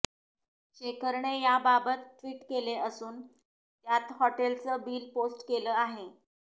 शेखरने याबाबत टि्वट केले असून त्यात हॉटेलचे बिल पोस्ट केले आहे